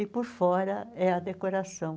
E por fora é a decoração.